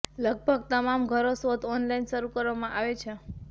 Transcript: લગભગ તમામ ઘરો શોધ ઓનલાઇન શરૂ કરવામાં આવે છે